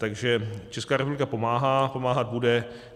Takže Česká republika pomáhá, pomáhat bude.